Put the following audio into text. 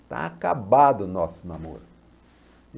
Está acabado o nosso namoro.